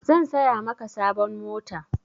San saya maka sabon mota.